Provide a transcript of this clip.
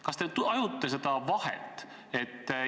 Kas te tajute seda vahet?